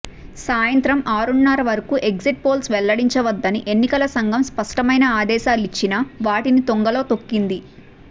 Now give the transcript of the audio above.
సాయంత్రం ఆరున్నర వరకు ఎగ్జిట్ పోల్స్ వెల్లడించవద్దని ఎన్నికల సంఘం స్పష్టమైన ఆదేశాలిచ్చినా వాటిని తుంగలో తొక్కింది